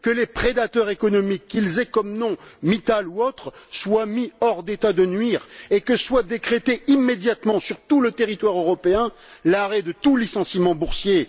Que les prédateurs économiques qu'ils aient comme nom Mittal ou autre soient mis hors d'état de nuire et que soit décrété immédiatement, sur tout le territoire européen, l'arrêt de tout licenciement boursier.